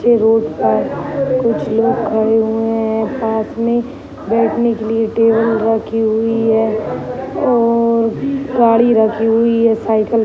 पर कुछ लोग खड़े हुए हैं। पास में बैठने के लिए टेबल रखी हुई है और गाड़ी रखी हुई है साईकल --